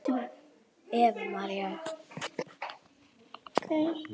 Eva María.